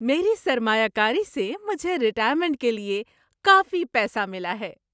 میری سرمایہ کاری سے مجھے ریٹائرمنٹ کے لیے کافی پیسہ ملا ہے۔